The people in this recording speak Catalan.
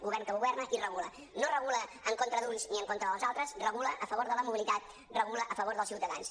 govern que governa i regula no regula en contra d’uns ni en contra dels altres regula a favor de la mobilitat regula a favor dels ciutadans